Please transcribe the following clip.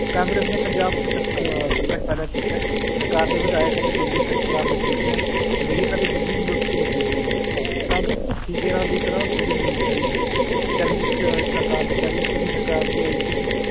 ਕਾਂਗਰਸ਼ ਨੇ ਪੰਜਾਬ ਚ ਸੰ ਅਹ ਸੰਕਟ ਪੈਦਾ ਕੀਤਾ ਹੈ, ਸਰਕਾਰ ਦੇ ਵਿਧਾਇਕ ਅਤੇ ਮੰਤਰੀ ਸ਼ ਸ਼ਰਾਬ ਦੇ ਠੇਕਿਆਂ ਅਧੀਨ ਅਤੇ ਦੀ ਲੁੱਟ ਚ ਲੱਗੇ ਹੋਏ ਹਨ ਕਾਂਗਰਸ ਭੁੱਖੇ ਸੇਰਾਂ ਦੀ ਤਰ੍ਹਾਂ ਸੂਬੇ ਨੂੰ ਨੋਚ ਰਹੀ ਹੈ, ਚਰਨਜੀਤ ਸਰਕਾਰ ਨੇ ਚੰਨ ਚੰਨੀ ਸਰਕਾਰ ਵੀ ਆਈ ਸੀਗੀ